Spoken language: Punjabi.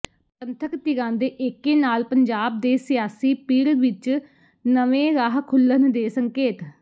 ਪੰਥਕ ਧਿਰਾਂ ਦੇ ਏਕੇ ਨਾਲ ਪੰਜਾਬ ਦੇ ਸਿਆਸੀ ਪਿੜ ਵਿਚ ਨਵੇਂ ਰਾਹ ਖੁੱਲ੍ਹਣ ਦੇ ਸੰਕੇਤ